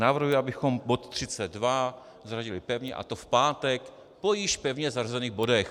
Navrhuji, abychom bod 32 zařadili pevně, a to v pátek po již pevně zařazených bodech.